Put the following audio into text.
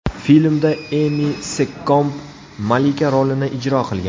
Filmda Emi Sekkomb malika rolini ijro qilgan.